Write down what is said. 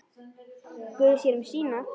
Guð sér um sína.